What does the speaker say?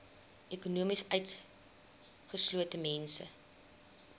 ekonomies utgeslote mense